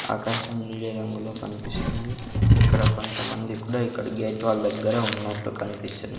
ఆకాశం నీలి రంగులో కన్పిస్తుంది ఇక్కడ కొంతమంది కూడా ఇక్కడ గేట్ వాల్ దగ్గర ఉన్నట్టు కనిపిస్తున్న--